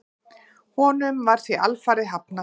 Honum var því alfarið hafnað.